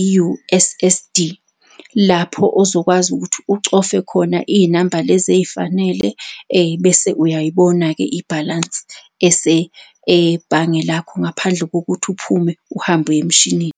i-U_S_S_D. Lapho ozokwazi ukuthi ucofe khona iy'namba lezi ey'fanele bese uyayibona-ke ibhalansi ebhange lakho, ngaphandle kokuthi uphume uhambe uye emshinini.